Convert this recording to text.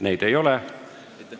Neid ei ole.